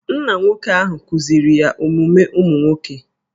Nna nwoke ahụ kuziri ya omume ụmụ nwoke